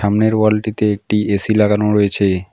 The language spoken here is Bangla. সামনের ওয়ালটিতে একটি এ_সি লাগানো রয়েছে।